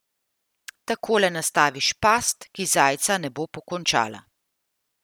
Takole nastaviš past, ki zajca ne bo pokončala.